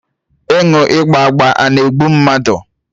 Aṅụ ịgba agba a na-egbu mmadụ?